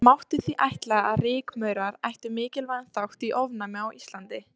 Það mátti því ætla að rykmaurar ættu mikilvægan þátt í ofnæmi á Íslandi.